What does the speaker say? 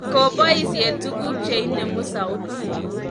Koboisie tuguk che inemu sautit.